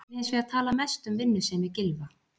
Ég vil hins vegar tala mest um vinnusemi Gylfa.